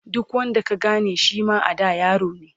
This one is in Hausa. duk wanda ka Gane Shima a da yarone